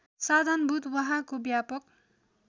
साधनभूत वहाँको व्यापक